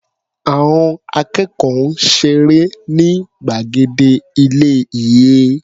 Àọn akẹ́kọ̀ọ́ ń ṣeré ní gbàgede ilé-ìé.